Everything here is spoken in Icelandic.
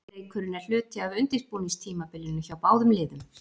Leikurinn er hluti af undirbúningstímabilinu hjá báðum liðum.